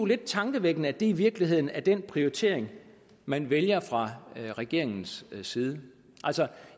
lidt tankevækkende at det i virkeligheden er den prioritering man vælger fra regeringens side altså